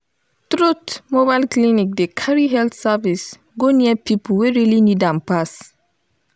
truth mobile clinic dey carry health service go near people wey really need am pass.